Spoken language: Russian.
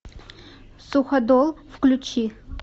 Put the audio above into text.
суходол включи